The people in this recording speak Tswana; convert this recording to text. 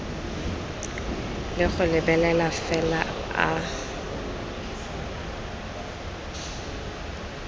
le go lebelela fela a